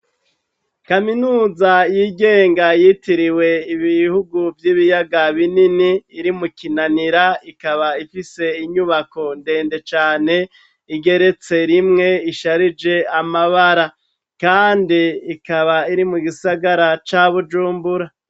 Kaminuza y'igenga yitiriwe Ibihugu vy' Ibiyaga Binini iri mu Kinanira, ikaba ifise inyubako ndende cane igeretse rimwe isharije amabara. Kandi ikaba iri mu gisagara ca Bujumbura.